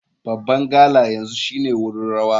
Babban gala yanzu shine wurin rawa.